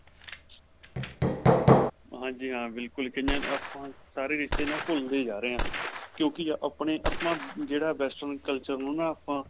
ਹਾਂਜੀ. ਹਾਂ ਬਿਲਕੁਲ ਕਇਆਂ ਆਪਾ ਸਾਰੇ ਰਿਸ਼ਤੇ ਨਾ, ਭੁਲਦੇ ਜਾ ਰਹੇ ਹਾਂ ਕਿਉਂਕਿ ਆਪਣੇ ਅਪਣਾ, ਜਿਹੜਾ western culture ਨੂੰ ਨਾ ਆਪਾਂ.